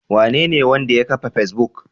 Wanene wanda ya kafa Facebook?